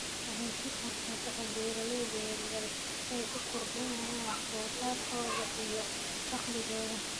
Waxay siisaa fursado beeralayda yaryar si ay u kordhiyaan wax soo saarkooda iyo dakhligooda.